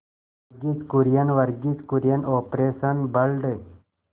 Verghese Kurien Verghese Kurien operation blood